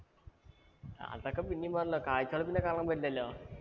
അതൊക്കെ പിന്നേം പോവുലോ. കാഴ്ചകള്‍ പിന്നേം കാണാന്‍ പറ്റിലല്ലോ.